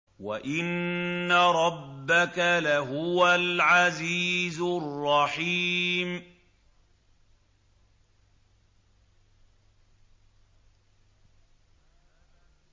وَإِنَّ رَبَّكَ لَهُوَ الْعَزِيزُ الرَّحِيمُ